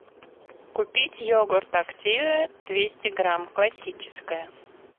купить йогурт активия двести грамм классическая